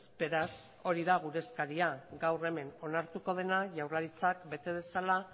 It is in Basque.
beraz hori da gure eskaria gaur hemen onartuko dena jaurlaritzak bete dezala